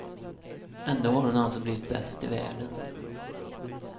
Ändå har hon alltså blivit bäst i världen.